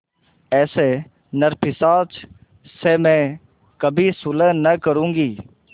ऐसे नरपिशाच से मैं कभी सुलह न करुँगी